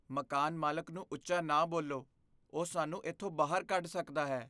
ਮਕਾਨ ਮਾਲਕ ਨੂੰ ਉੱਚਾ ਨਾ ਬੋਲੋ। ਉਹ ਸਾਨੂੰ ਇੱਥੋਂ ਬਾਹਰ ਕੱਢ ਸਕਦਾ ਹੈ।